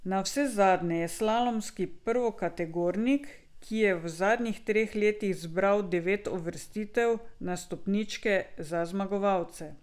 Navsezadnje je slalomski prvokategornik, ki je v zadnjih treh letih zbral devet uvrstitev na stopničke za zmagovalce.